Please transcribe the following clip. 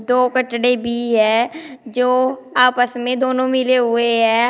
दो बछड़े भी है जो आपस में दोनों मिले हुए हैं।